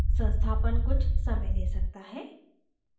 संस्थापन कुछ समय ले सकता है